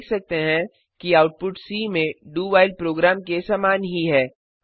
हम देख सकते हैं कि आउटपुट सी में doव्हाइल प्रोग्राम के समान ही है